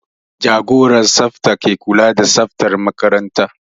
Jagoran tsafta ke kula da tsaftar makaranta